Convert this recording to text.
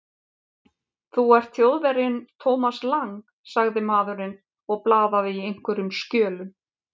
Þú ert Þjóðverjinn Thomas Lang sagði maðurinn og blaðaði í einhverjum skjölum.